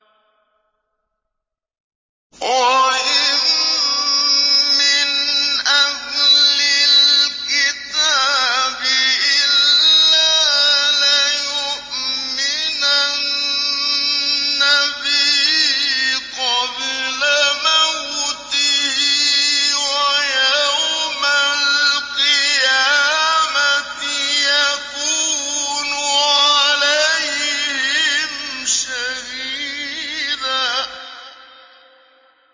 وَإِن مِّنْ أَهْلِ الْكِتَابِ إِلَّا لَيُؤْمِنَنَّ بِهِ قَبْلَ مَوْتِهِ ۖ وَيَوْمَ الْقِيَامَةِ يَكُونُ عَلَيْهِمْ شَهِيدًا